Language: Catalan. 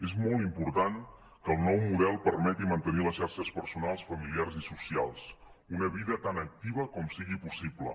és molt important que el nou model permeti mantenir les xarxes personals familiars i socials una vida tan activa com sigui possible